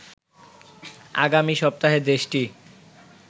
আগামী সপ্তাহে দেশটি